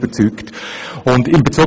Das hat mich überzeugt.